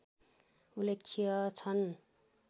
उल्लेख्य छन्